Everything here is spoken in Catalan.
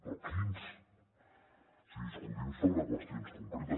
però quins o sigui discutim sobre qüestions concretes